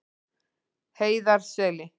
Heiðarseli